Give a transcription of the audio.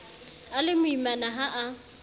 a le moimana ha a